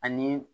Ani